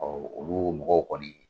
Olu mɔgɔw kɔni